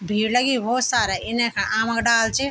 भीड़ लगीं भोत सारा इने खन आम क डाला च।